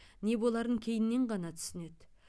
не боларын кейіннен ғана түсінеді